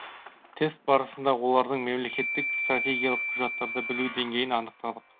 тест барысында олардың мемлекеттік стратегиялық құжаттарды білу деңгейін анықтадық